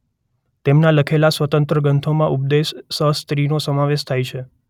તેમના લખેલા સ્વતંત્ર ગ્રંથોમાં ઉપદેશ સહસ્ત્રીનો સમાવેશ થાય છે